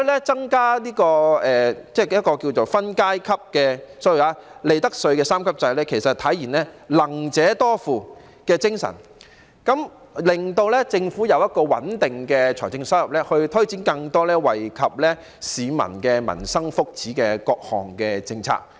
增加分階級的 ......sorry， 利得稅三級制可體現"能者多付"的精神，令政府有一個穩定的財政收入來源來推展更多惠及市民民生福祉的各項政策。